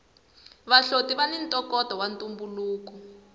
vahloti vani ntokoto wa ntumbuluko